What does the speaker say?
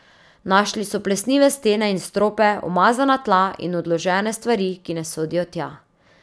Našli so plesnive stene in strope, umazana tla in odložene stvari, ki ne sodijo tja.